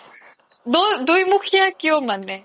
দুইমুখিয়া কিও মানে